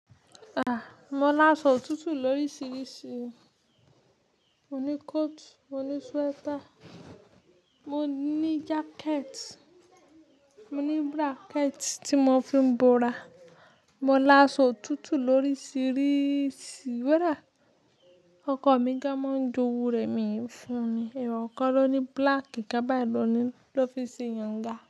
Ah! Mo lasọ otutu lóríṣiríṣi. Mo ní coat, mo ní sweater, mo ní jacket, mo ní bracket tí mo fi ń bora. Mo lasọ otutu lóríṣiríṣi koda, ọkọ mi gan máa ń jowu rẹ mi n fún ni. Eeyàn kan loni black kan bai lọní ló fi n ṣe yínga.